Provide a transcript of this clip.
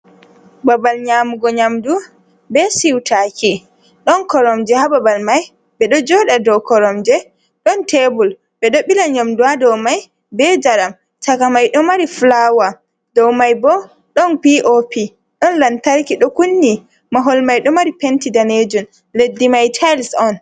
Babal nyamugo nyamdu be siutaki don koromje ha babal mai be do joɗa do koromje don tebur ɓe ɗo ɓila nyamdu ha do mai be jaram shaka mai do mari fulawa ɗow mai bo don pop ɗon lantarki ɗo kunni mahol mai ɗo mari penti danejun leddi mai tayis on.